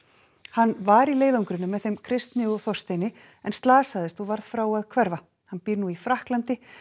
hann var í leiðangrinum með þeim Kristni og Þorsteini en slasaðist og varð frá að hverfa hann býr nú í Frakklandi